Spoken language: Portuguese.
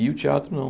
E o teatro, não.